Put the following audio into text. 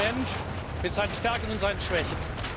Ich bin ein Mensch mit seinen Stärken und seinen Schwächen.